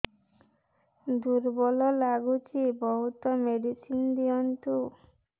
ଦୁର୍ବଳ ଲାଗୁଚି ବହୁତ ମେଡିସିନ ଦିଅନ୍ତୁ